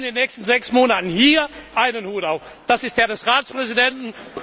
Sie haben in den nächsten sechs Monaten hier einen Hut auf, das ist der des Ratspräsidenten.